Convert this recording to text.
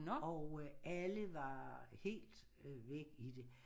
Og alle var helt væk i det